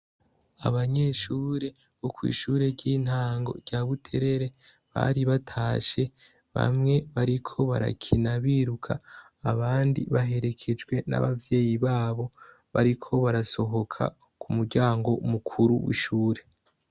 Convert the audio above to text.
Abanyeshure bo kw'ishure ry'intango rya Butere bari batashe, bamwe bariko barakina biruka, abandi baherekejwe n'abavyeyi babo, bariko barasohoka ku muryango mukuru w'ishure.